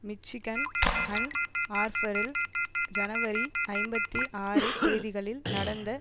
Michigan Ann ஆர்பரில் ஜனவரி ஐம்பத்தி ஆறு தேதிகளில் நடந்த